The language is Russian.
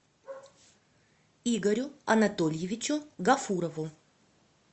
игорю анатольевичу гафурову